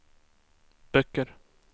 böcker